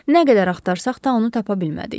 Nə qədər axtarsaq da onu tapa bilmədik.